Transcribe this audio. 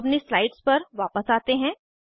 अब अपनी स्लाइड्स पर वापस आते हैं